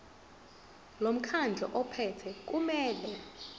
lomkhandlu ophethe kumele